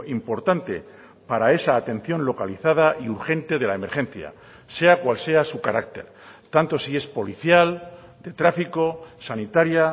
importante para esa atención localizada y urgente de la emergencia sea cual sea su carácter tanto si es policial de tráfico sanitaria